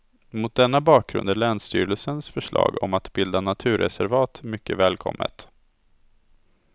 Mot denna bakgrund är länsstyrelsens förslag om att bilda naturreservat mycket välkommet.